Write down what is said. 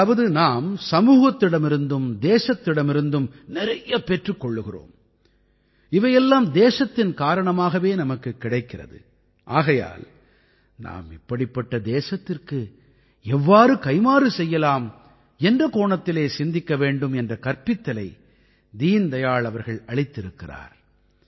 அதாவது நாம் சமூகத்திடமிருந்தும் தேசத்திடமிருந்தும் நிறைய பெற்றுக் கொள்கிறோம் இவையெல்லாம் தேசத்தின் காரணமாகவே நமக்குக் கிடைக்கிறது ஆகையால் இப்படிப்பட்ட தேசத்திற்கு நாம் எவ்வாறு கைம்மாறு செய்யலாம் என்ற கோணத்திலே சிந்திக்க வேண்டும் என்ற கற்பித்தலை தீன் தயாள் அவர்கள் அளித்திருக்கிறார்